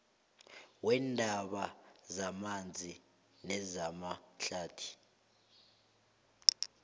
weendaba zamanzi nezamahlathi